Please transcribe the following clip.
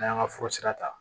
N'an y'an ka fura sira ta